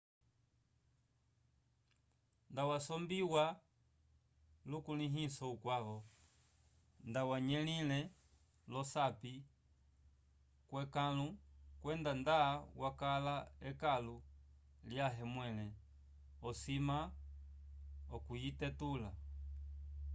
nda wasombiwa lukulĩhiso ukwavo nda wanyelile olosapi vyekãlu kwenda nda yakala ekãlu lyãhe mwẽle osima okuyitetula